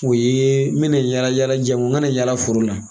O ye n bi na yala yala janko n ka na yala foro la.